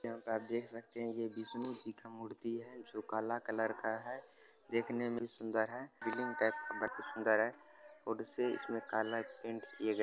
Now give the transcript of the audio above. यहाँ पे आप देख सकते हैं जो विष्णु जी का मूर्ति है जो काला कलर का है। देखने में भी सुंदर है। शिवलिंग टाइप से काफी सुंदर है। और उसे इसमें काला पेन्ट किया गया है।